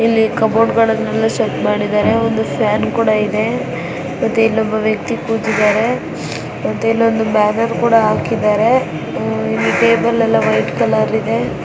ಇಲ್ಲಿ ಕಫೋರ್ಡುಗಳನೆಲ್ಲಾ ಸೆಟ್ ಮಾಡಿದ್ದಾರೆ ಒಂದು ಫ್ಯಾನ್ ಕೂಡಾ ಇದೆ ಮತ್ತೆ ಇಲ್ಲೊಬ್ಬ ವ್ಯಕ್ತಿ ಕೂತಿದ್ದಾರೆ ಮತ್ತೆ ಇಲ್ಲೊಂದು ಬ್ಯಾನರ್ ಕೂಡಾ ಹಾಕಿದ್ದಾರೆ ಆಹ್ ಇಲ್ಲಿ ಟೇಬಲ್ ಎಲ್ಲಾ ವೈಟ್ ಕಲರ್ ಇದೆ .